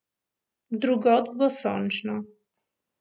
Drugod bo sončno.